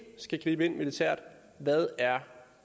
skal gribe ind militært hvad